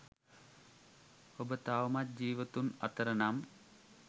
ඔබ තවමත් ජීවතුන් අතර නම්